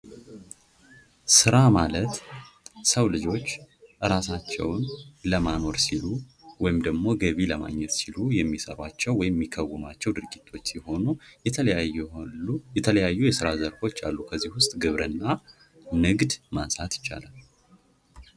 ስራ ማለት የሰው ልጆች እራሳቸውን ለማኖር ሲሉ ወይም ደግሞ ገቢ ለማግኘት ሲሉ የሚሰሯቸው ወይም የሚከውኗቸው ድርጊቶች ሲሆኑ የተለያዩ የስራ ዘርፎች አሉ ። ከእዚህም ውስጥ ግብርና ፣ ንግድ ማንሳት ይቻላል ።